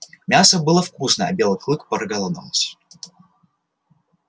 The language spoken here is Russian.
мясо было вкусное а белый клык проголодался